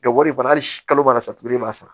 Ka wari bana hali si ma mara sa tugu de b'a sara